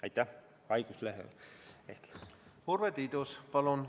Urve Tiidus, palun!